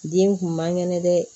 Den kun man kɛnɛ dɛ